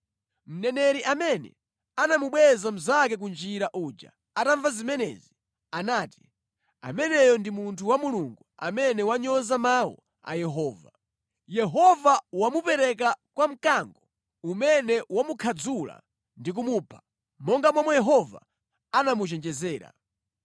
Mneneri amene anamubweza mnzake ku njira uja atamva zimenezi, anati, “Ameneyo ndi munthu wa Mulungu amene wanyoza mawu a Yehova. Yehova wamupereka kwa mkango umene wamukhadzula ndi kumupha, monga momwe Yehova anamuchenjezera.”